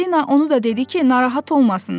Çipalino onu da dedi ki, narahat olmasınlar.